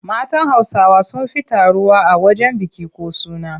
Matan Hausawa sun fi taruwa a wajen biki ko suna.